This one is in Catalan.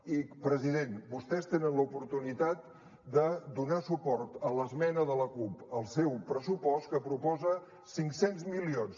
i president vostès tenen l’oportunitat de donar suport a l’esmena de la cup al seu pressupost que proposa cinc cents milions